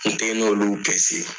N tɛ n'olu